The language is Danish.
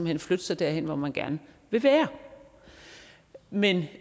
hen flytte sig derhen hvor man gerne vil være men